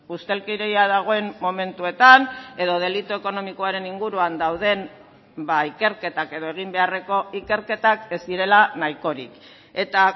ustelkeria dagoen momentuetan edo delitu ekonomikoaren inguruan dauden ikerketak edo egin beharreko ikerketak ez direla nahikorik eta